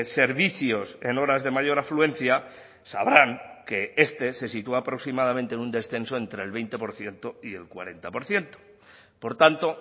servicios en horas de mayor afluencia sabrán que este se sitúa aproximadamente en un descenso entre el veinte por ciento y el cuarenta por ciento por tanto